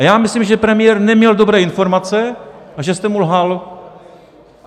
A já myslím, že premiér neměl dobré informace a že jste mu lhal.